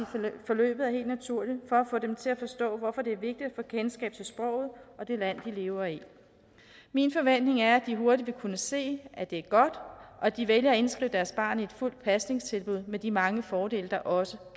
i forløbet er helt naturligt for at få dem til at forstå hvorfor det er vigtigt at få kendskab til sproget og det land de lever i min forventning er at de hurtigt vil kunne se at det er godt og at de vælger at indskrive deres barn i et fuldt pasningstilbud med de mange fordele der også